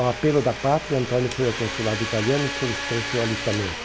Ao apelo da pátria, Antonio foi ao consulado italiano e solicitou seu alistamento.